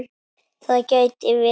Það gæti verið